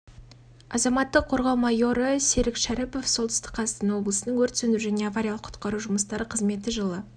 азаматтық қорғау майоры серик шәріпов солтүстік қазақстан облысының өрт сөндіру және авариялық құтқару жұмыстары қызметі жылы